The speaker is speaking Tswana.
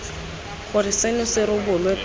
gore seno se rebolwe pele